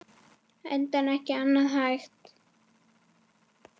Enda ekki annað hægt.